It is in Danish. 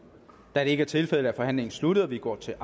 da det ikke er tilfældet er forhandlingen sluttet og vi går til